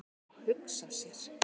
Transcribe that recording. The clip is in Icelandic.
"""Já, hugsa sér!"""